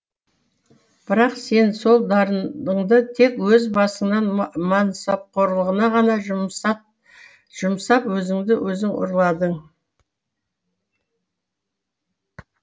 бірақ сен сол дарыныңды тек өз басыңнаң мансапқорлығына ғана жұмсап өзіңді өзің ұрладың